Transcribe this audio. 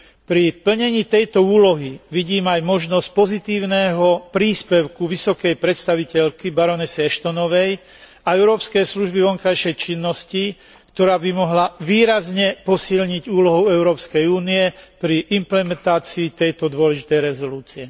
Pri plnení tejto úlohy vidím aj možnosť pozitívneho príspevku vysokej predstaviteľky baronesy Ashtonovej a Európskej služby pre vonkajšiu činnosť, ktorá by mohla výrazne posilniť úlohu Európskej únie pri implementácii tejto dôležitej rezolúcie.